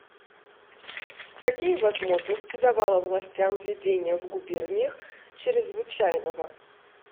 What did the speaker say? какие возможности давало властям введение в губерниях чрезвычайного